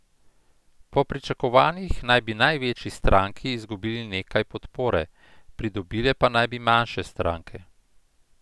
Po pričakovanjih naj bi največji stranki izgubili nekaj podpore, pridobile pa naj bi manjše stranke.